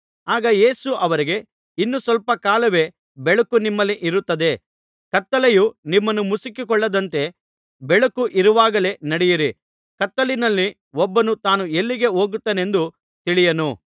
ಆಗ ಯೇಸು ಅವರಿಗೆ ಇನ್ನು ಸ್ವಲ್ಪ ಕಾಲವೇ ಬೆಳಕು ನಿಮ್ಮಲ್ಲಿ ಇರುತ್ತದೆ ಕತ್ತಲೆಯು ನಿಮ್ಮನ್ನು ಮುಸುಕಿಕೊಳ್ಳದಂತೆ ಬೆಳಕು ಇರುವಾಗಲೇ ನಡೆಯಿರಿ ಕತ್ತಲಿನಲ್ಲಿ ಒಬ್ಬನು ತಾನು ಎಲ್ಲಿಗೆ ಹೋಗುತ್ತಾನೆಂದು ತಿಳಿಯನು